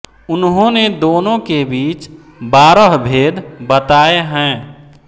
उन्होंने दोनों के बीच बारह भेद बताए हैं